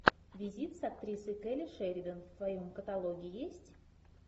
визит с актрисой келли шеридан в твоем каталоге есть